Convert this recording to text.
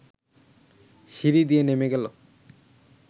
সিঁড়ি দিয়ে নেমে গেল